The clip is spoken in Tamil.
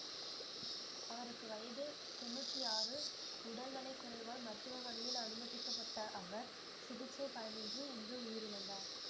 அவருக்கு வயது தொன்னூற்தி ஆறு உடல் நலக்குறைவால் மருத்துவமனையில் அனுமதிக்கப்பட்ட அவர் சிகிச்சை பலனின்றி இன்று உயிரிழந்தார்